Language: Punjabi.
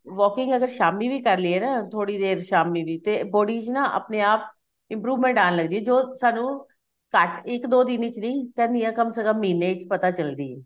walking ਅਗਰ ਸ਼ਾਮੀ ਵੀ ਕਰ ਲਈਏ ਨਾ ਥੋੜੀ ਦੇਰ ਸ਼ਾਮੀ ਵੀ ਤੇ body ਚ ਨਾ ਆਪਣੇ ਆਪ improvement ਆਣ ਲੱਗ ਜਾਂਦੀ ਏ ਜੋ ਸਾਨੂੰ ਘੱਟ ਇੱਕ ਦੋ ਦਿਨ ਵਿੱਚ ਨੀਂ ਕਰਨੀ ਏ ਕਮ ਸੀ ਕਮ ਮਹੀਨੇ ਚ ਪਤਾ ਚੱਲਦੀ ਏ